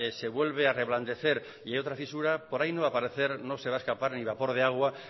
se vuelve a reblandecer y hay otra fisura por ahí no va a aparecer no se va a escapar ni vapor de agua